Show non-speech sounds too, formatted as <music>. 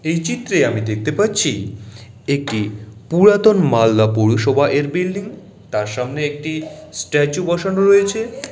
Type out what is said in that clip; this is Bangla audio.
এই চিত্রে আমি দেখতে পাচ্ছি একটি পুরাতন মালদা পৌরসভা -এর বিল্ডিং তাঁর সামনে একটি স্ট্যাচু বসানো রয়েছে-- <crosstalk>